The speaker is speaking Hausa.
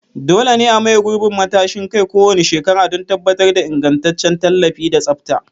Dole ne a maye gurbin matashin kai kowane shekara don tabbatar da ingantaccen tallafi da tsafta.